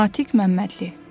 Natiq Məmmədli.